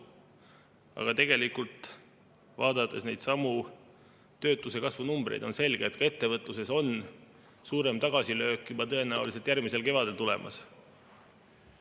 Aga tegelikult, vaadates neidsamu töötuse kasvu numbreid, on selge, et ettevõtluses on suurem tagasilöök juba tõenäoliselt järgmisel kevadel tulemas.